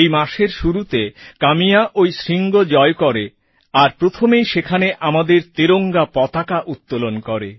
এই মাসের শুরুতে কাম্যা ওই শৃঙ্গ জয় করে আর প্রথমেই সেখানে আমাদের তেরঙ্গা পতাকা উত্তোলন করে